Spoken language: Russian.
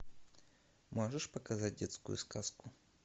можешь показать детскую сказку